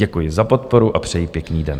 Děkuji za podporu a přeji pěkný den.